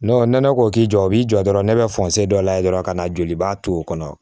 nɛnɛ ko k'i jɔ o b'i jɔ dɔrɔn ne bɛ dɔ layɛ dɔrɔn ka na jolibaa to kɔnɔ